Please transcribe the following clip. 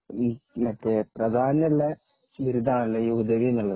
പ്രധാനമുള്ള ബിരുദമാണല്ലോ ഹുദവി എന്നുള്ളത്